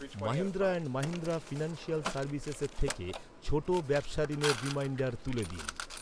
Mahindra and Mahindra financial সার্ভিসেসের থেকে ছোট ব্যবসা ঋণের রিমাইন্ডার তুলে দিন।